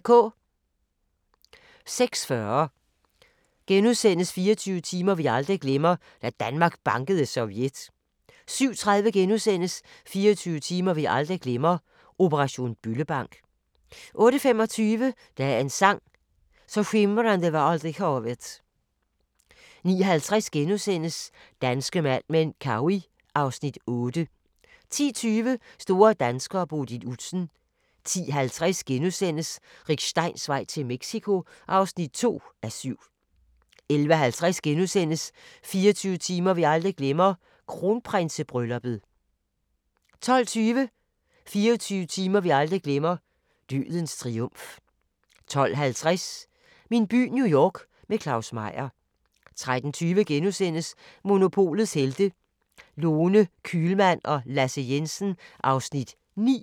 06:40: 24 timer vi aldrig glemmer – Da Danmark bankede Sovjet * 07:30: 24 timer vi aldrig glemmer – operation Bøllebank * 08:25: Dagens sang: Så skimrande var aldrig havet 09:50: Danske Mad Men: Cowey (Afs. 8)* 10:20: Store danskere: Bodil Udsen 10:50: Rick Steins vej til Mexico (2:7)* 11:50: 24 timer vi aldrig glemmer: Kronprinsebrylluppet * 12:20: 24 timer vi aldrig glemmer: Dødens triumf 12:50: Min by New York – med Claus Meyer 13:20: Monopolets Helte – Lone Kühlmann og Lasse Jensen (Afs. 9)*